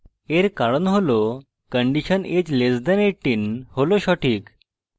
এর কারণ হল condition age less than 18 হল সঠিক